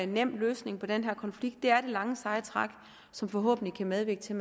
nem løsning på den her konflikt det er det lange seje træk som forhåbentlig kan medvirke til